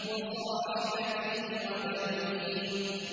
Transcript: وَصَاحِبَتِهِ وَبَنِيهِ